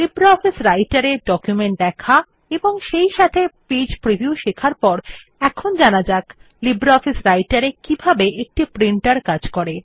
LibreOffice রাইটের এ document দেখা এবং সেইসাথে পেজ প্রিভিউ শেখার পরে এখন জানা যাক লিব্রিঅফিস রাইটের এ কিভাবে একটি প্রিন্টের কাজ করে